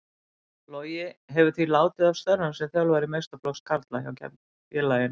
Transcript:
Logi hefur því látið af störfum sem þjálfari meistaraflokks karla hjá félaginu.